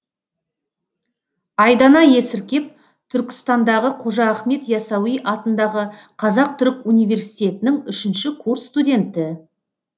айдана есіркеп түркістандағы қожа ахмет ясауи атындағы қазақ түрік университетінің үшінші курс студенті